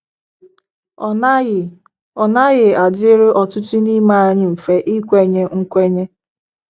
Ọ naghị Ọ naghị adịrị ọtụtụ n’ime anyị mfe ikwenye nkwenye.